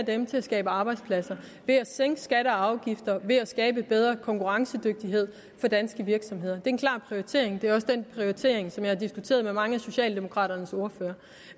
dem til at skabe arbejdspladser ved at sænke skatter og afgifter ved at skabe en bedre konkurrencedygtighed for danske virksomheder det en klar prioritering det er også den prioritering som jeg har diskuteret med mange af socialdemokraternes ordførere